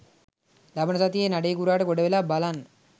ලබන සතියේ නඩේ ගුරාට ගොඩවෙලා බලන්න.